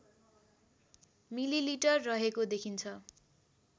millilitre रहेको देखिन्छ